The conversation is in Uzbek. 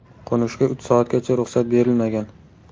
Qo‘nishga uch soatgacha ruxsat berilmagan.